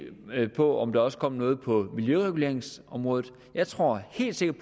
på om der også kom noget på miljøreguleringsområdet jeg tror helt sikkert